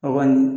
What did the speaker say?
A kɔni